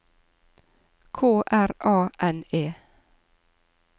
K R A N E